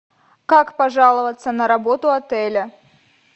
как пожаловаться на работу отеля